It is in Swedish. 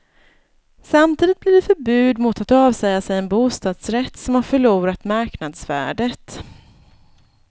Samtidigt blir det förbud mot att avsäga sig en bostadsrätt som har förlorat marknadsvärdet.